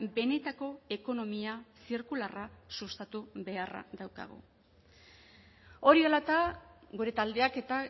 benetako ekonomia zirkularra sustatu beharra daukagu hori dela eta gure taldeak eta